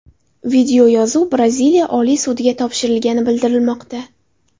Videoyozuv Braziliya oliy sudiga topshirilgani bildirilmoqda.